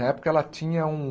Na época, ela tinha um...